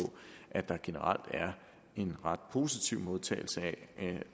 at der generelt er en ret positiv modtagelse af